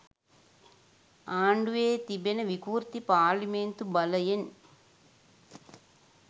ආණ්ඩුවේ තිබෙන විකෘති පාර්ලිමේන්තු බලයෙන්